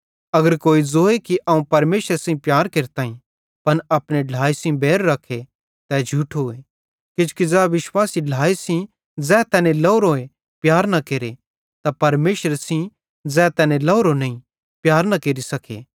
अगर कोई ज़ोए कि अवं परमेशरे सेइं प्यार केरताईं पन अपने ढ्लाए सेइं बैर रखे तै झूठोए किजोकि ज़ै विश्वासी ढ्लाए सेइं ज़ै तैने लोरोए प्यार न केरे त परमेशरे सेइं भी ज़ै तैने लवरो नईं प्यार न केरि सके